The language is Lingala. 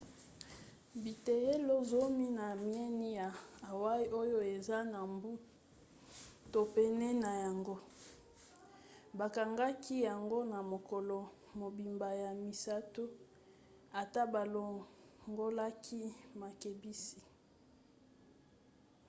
biteyelo zomi na mieni ya hawaï oyo eza na mbu to pene na yango bakangaki yango na mokolo mobimba ya misato ata balongolaki makebisi